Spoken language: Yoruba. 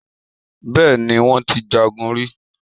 Bẹ́ẹ̀ni, wón ti jagun rí.